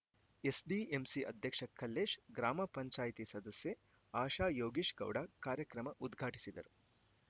SDMC ಅಧ್ಯಕ್ಷ ಕಲ್ಲೇಶ್‌ ಗ್ರಾಮ ಪಂಚಾಯಿತಿ ಸದಸ್ಯೆ ಆಶಾ ಯೋಗೀಶ್‌ ಗೌಡ ಕಾರ್ಯಕ್ರಮ ಉದ್ಘಾಟಿಸಿದರು